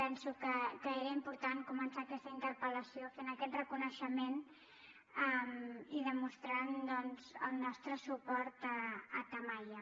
penso que era important començar aquesta interpel·lació fent aquest reconeixement i demostrant doncs el nostre suport a tamaia